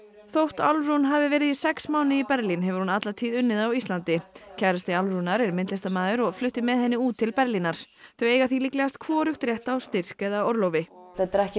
þótt Álfrún hafi verið í sex mánuði í Berlín hefur hún alla tíð unnið á Íslandi kærasti Álfrúnar er myndlistarmaður og flutti með henni út til Berlínar þau eiga því líklegast hvorugt rétt á styrk eða orlofi þetta eru ekki